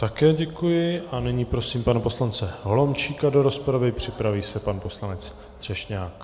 Také děkuji a nyní prosím pana poslance Holomčíka do rozpravy, připraví se pan poslanec Třešňák.